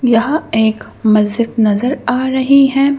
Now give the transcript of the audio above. यहां एक मस्जिद नजर आ रही है।